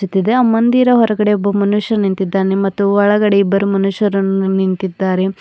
ತಿದೆ ಮಂದಿರ ಹೊರಗಡೆ ಒಬ್ಬ ಮನುಷ್ಯ ನಿಂತಿದ್ದಾನೆ ಮತ್ತು ಒಳಗಡೆ ಇಬ್ಬರು ಮನುಷ್ಯರನ್ನು ನಿಂತಿದ್ದಾರೆ.